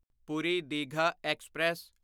Puri Digha express